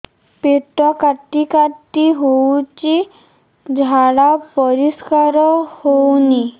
ପେଟ କାଟି କାଟି ହଉଚି ଝାଡା ପରିସ୍କାର ହଉନି